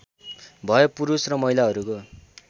भए पुरुष र महिलाहरूको